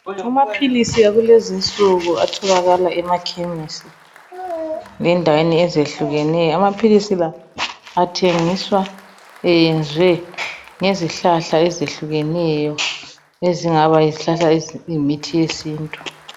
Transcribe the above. Amaphilisi akulezinsuku atholakala emakhemisi lendaweni ezehluleneyo amaphilisi la athengiswa eyenziwe ngizihlahla ezehluleneyo ezingaba yizihlahla eziyimithi yesintu